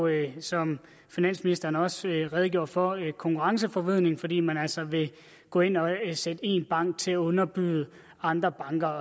er jo som finansministeren også redegjorde for konkurrenceforvridende fordi man altså vil gå ind og sætte én bank til at underbyde andre banker